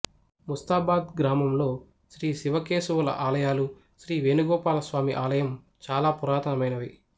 ముస్తాబాద్ గ్రామంలో శ్రీ శివకేశవుల ఆలయాలు శ్రీ వేణుగోపాల స్వామి ఆలయం చాల పురాతనమైనవి